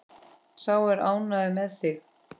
Sá er ánægður með þig!